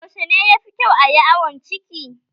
Yaushe ne yafi kyau ayi awon ciki?